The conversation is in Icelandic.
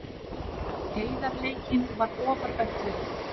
Heiðarleikinn var ofar öllu.